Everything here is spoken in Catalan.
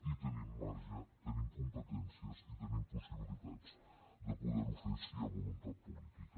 i tenim marge tenim competències i tenim possibilitats de poder ho fer si hi ha voluntat política